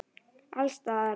Alls staðar.